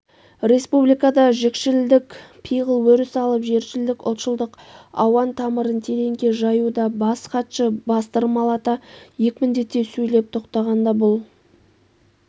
республикада жікшілдік пиғыл өріс алып жершілдік ұлтшылдық ауан тамырын тереңге жаюда бас хатшы бастырмалата екпіндете сөйлеп тоқтағанда бұл